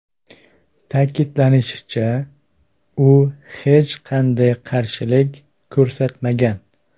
Ta’kidlanishicha, u hech qanday qarshilik ko‘rsatmagan.